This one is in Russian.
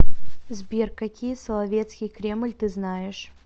сбер какие соловецкий кремль ты знаешь